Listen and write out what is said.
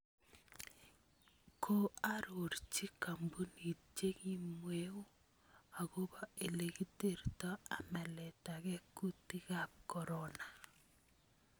Koaroorchi koombunit chekimweu akobo ele kiterto amaletagee kuutikaab corona